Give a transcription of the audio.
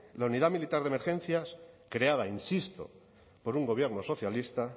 la unidad militar de emergencias creada insisto por un gobierno socialista